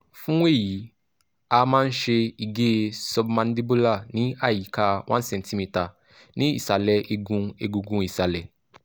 fún èyí a a máa ń ṣe ìgé submandibular ní àyíká 1cm ní ìsàlẹ̀ igun egungun ìsálẹ̀